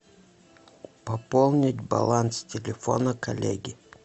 пополнить баланс телефона коллеги